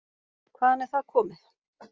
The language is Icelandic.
Hvaðan er það komið?